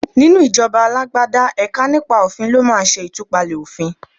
Nínú ìjọba alágbádá, ẹ̀ka nípa òfin ló máa ṣẹ ìtúpalẹ̀ òfìn.